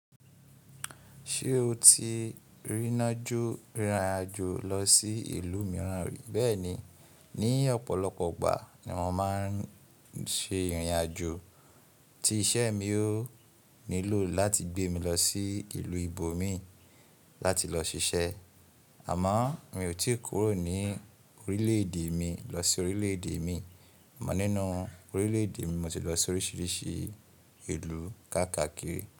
Ṣé o ti rìnájò lọ sí ìlú mìíràn rí? Bẹ́ẹ̀ni. Ni ọ̀pọ̀lọpọ̀ ìgbà ni mo máa ń ṣe ìrìn àjò. Ti iṣẹ́ mi ò nílò láti gbé mi lọ sí ìlú ibo mii láti lọ ṣiṣẹ́. Àmọ́ mi ò tí kúrò ní orílẹ̀ èdè mi lọ sí orílẹ̀ èdè mii, amọ̀ nínú orílẹ̀ èdè mi, mo ti lọ sí oríṣiríṣi ìlú káàkakiri.